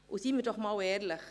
Seien wir einmal ehrlich!